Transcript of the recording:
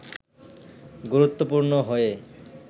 গুরুত্বপূর্ণ হয়ে